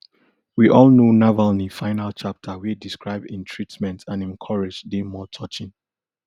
we all know navalny final chapter wey describe im treatment and im courage dey more touching